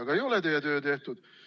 Aga ei ole teie töö tehtud.